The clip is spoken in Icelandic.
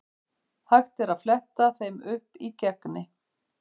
Hægt er að fletta þeim upp í Gegni.